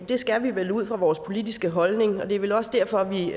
det skal vi vel ud fra vores politiske holdning og det er vel også derfor